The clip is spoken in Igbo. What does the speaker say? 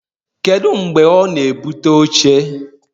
Kedu mgbe ọ na-ebute oche?